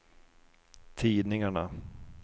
tidningarna